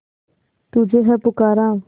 तुझे है पुकारा